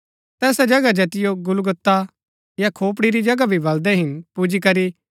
तैसा जगह जैतिओ गुलगुता या खोपड़ी री जगह भी बलदै हिन पुजीकरी